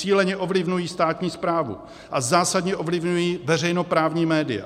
Cíleně ovlivňují státní správu a zásadně ovlivňují veřejnoprávní média.